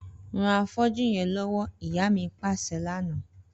Ran afọ́jú yẹn lọwọ, ìyá mi paṣẹ lana.